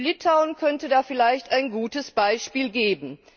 Litauen könnte da vielleicht ein gutes Beispiel geben.